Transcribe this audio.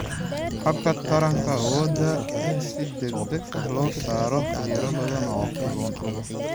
Habka Taranka Awoodda in si degdeg ah loo soo saaro tiro badan oo kalluun ah.